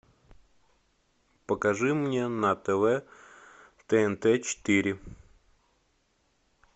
покажи мне на тв тнт четыре